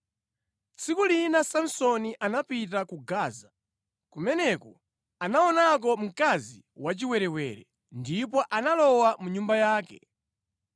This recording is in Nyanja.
Tsiku lina Samsoni anapita ku Gaza. Kumeneko anaonako mkazi wachiwerewere, ndipo analowa mu nyumba yake.